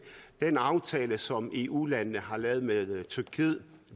den aftale som eu landene har lavet med tyrkiet